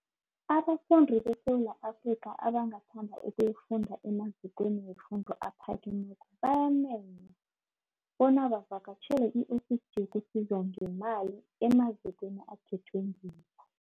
Abafundi beSewula Afrika abangathanda ukuyofunda emazikweni wefundo ephakemeko bayamenywa bona bavakatjhele i-Ofisi yokuSizwa ngeeMali emazikweni akhethwe ngibo.